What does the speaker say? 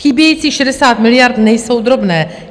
Chybějících 60 miliard nejsou drobné.